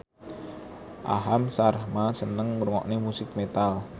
Aham Sharma seneng ngrungokne musik metal